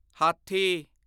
ਹਾਥੀ